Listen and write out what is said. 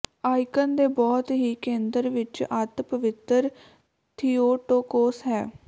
icon ਦੇ ਬਹੁਤ ਹੀ ਕੇਂਦਰ ਵਿਚ ਅੱਤ ਪਵਿੱਤਰ ਥਿਉਟੋਕੋਸ ਹੈ